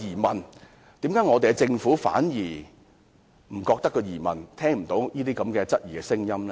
為何我們的政府反而沒有疑問，聽不到這些質疑的聲音？